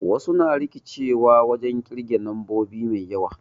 Wasu na rikicewa wajen ƙirge nombobi mai yawa